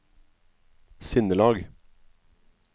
sinnelag